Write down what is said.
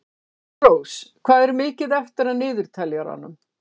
Sólrós, hvað er mikið eftir af niðurteljaranum?